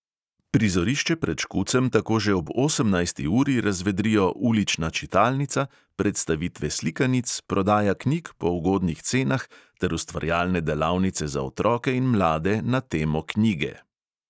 Prizorišče pred škucem tako že ob osemnajsti uri razvedrijo ulična čitalnica, predstavitve slikanic, prodaja knjig po ugodnih cenah ter ustvarjalne delavnice za otroke in mlade na temo knjige.